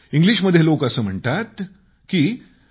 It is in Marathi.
इंग्लिशमध्ये लोक असं म्हणतात की